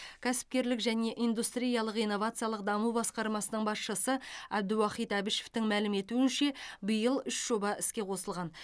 кәсіпкерлік және индустриялық инновациялық даму басқармасының басшысы абдуахит әбішевтің мәлім етуінше биыл үш жоба іске қосылған